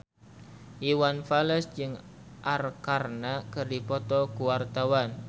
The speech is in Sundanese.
Iwan Fals jeung Arkarna keur dipoto ku wartawan